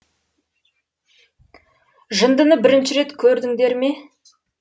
жындыны бірінші рет көрдіңдер ме